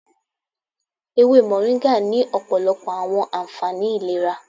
Ewe Moringa ni ọpọlọpọ awọn anfani ilera